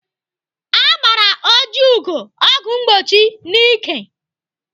Agbara Ojiugo ọgwụ mgbochi n'ike.